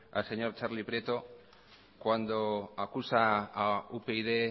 al señor txarli prieto cuando acusa a upyd